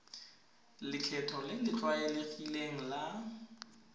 lekgetho le le tlwaelegileng la